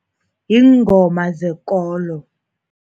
Iingoma zekolo.